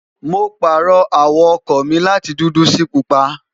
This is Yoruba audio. mo pààrọ̀ àwọ̀ ọkọ̀ mi láti dúdú sí pupa